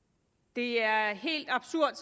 det er helt absurd